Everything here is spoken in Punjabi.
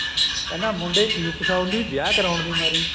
ਕਹਿੰਦਾ ਮੁੰਡੇ ਕਿਉ ਫਸਾਉਂਦੀ ਵਿਆਹ ਕਰਾਉਣ ਦੀ ਮਾਰ